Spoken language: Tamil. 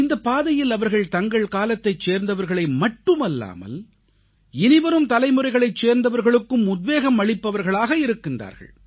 இந்தப் பாதையில் அவர்கள் தங்கள் காலத்தைச் சேர்ந்தவர்களை மட்டுமல்லாமல் இனிவரும் தலைமுறைகளைச் சேர்ந்தவர்களுக்கும் உத்வேகம் அளிப்பவர்களாக இருக்கின்றார்கள்